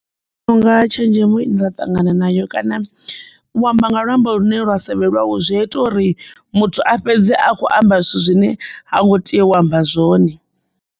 Nṋe ndi vhona unga tshenzhemo ye nda ṱangana nayo kana u amba nga luambo lune lwa sa vhe lwawe zwi a ita uri muthu a fhedze a kho amba zwithu zwine ha ngo tea u amba zwone.